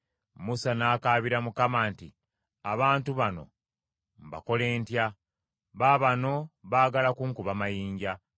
Musa n’akaabira Mukama nti, “Abantu bano mbakole ntya? Baabano baagala kunkuba mayinja.”